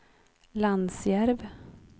Lansjärv